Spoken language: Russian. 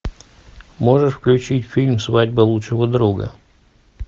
можешь включить фильм свадьба лучшего друга